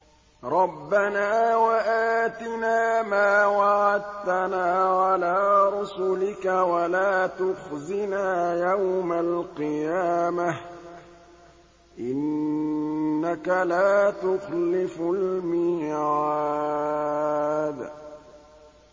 رَبَّنَا وَآتِنَا مَا وَعَدتَّنَا عَلَىٰ رُسُلِكَ وَلَا تُخْزِنَا يَوْمَ الْقِيَامَةِ ۗ إِنَّكَ لَا تُخْلِفُ الْمِيعَادَ